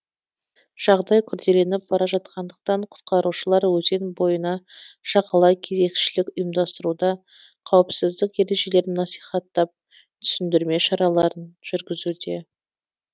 жағдай күрделеніп бара жатқандықтан құтқарушылар өзен бойына жағалай кезекшілік ұйымдастыруда қауіпсіздік ережелерін насихаттап түсіндірме шараларын жүргізуде